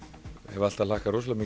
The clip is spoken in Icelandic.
hef alltaf hlakkað rosalega